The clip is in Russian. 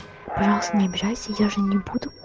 пожалуйста не обижайся я же не буду